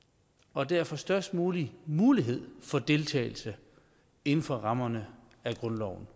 og derfor størst mulig mulighed for deltagelse inden for rammerne af grundloven